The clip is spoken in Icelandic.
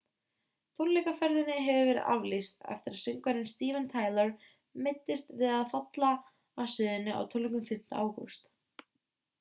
tónleikaferðinni hefur verið aflýst eftir að söngvarinn steven tyler meiddist við að falla af sviðinu á tónleikum 5. ágúst